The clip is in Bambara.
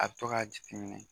A bɛ to ka jiti minɛ.